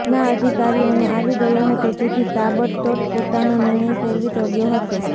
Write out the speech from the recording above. ના અધિકારીઓને આવી ગયો હતો જેથી તાબડતોડ પોતાનો નિર્ણય ફેરવી તોળ્યો હતો